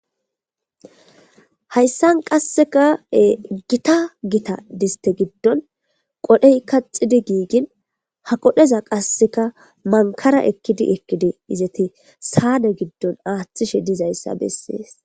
Hayisan qaseka gitta gitta disite gidoni qodhey qaxidi gigin ha qodheza manikara ekidi ekidi izeti sane gidoni athishe dizaysa beses